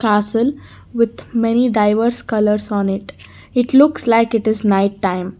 asin with many diverse colours on it it looks like it is night time